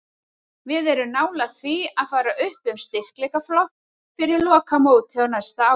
Við erum nálægt því að fara upp um styrkleikaflokk fyrir lokamótið á næsta ári.